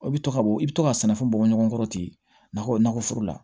I bɛ to ka bɔ i bɛ to ka sɛnɛfɛn bɔ ɲɔgɔn kɔrɔ ten na kɔ nakɔ foro la